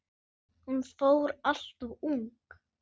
Hún fór alltof ung.